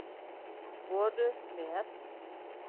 voru með